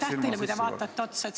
Aitäh teile, et te otsa vaatate!